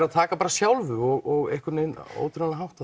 að taka sjálfu og einhvern veginn á ótrúlegan hátt